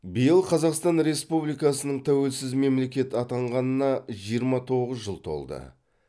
биыл қазақстан республикасының тәуелсіз мемлекет атанғанына жиырма тоғыз жыл толды